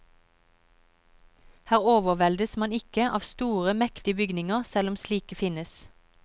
Her overveldes man ikke av store, mektige bygninger, selv om slike finnes.